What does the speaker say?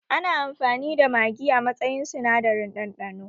Ana amfani da magi a matsayin sinadarin ɗanɗano